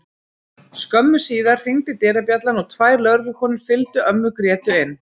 Skömmu síðar hringdi dyrabjallan og tvær lögreglukonur fylgdu ömmu Grétu inn.